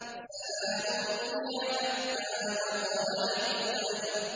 سَلَامٌ هِيَ حَتَّىٰ مَطْلَعِ الْفَجْرِ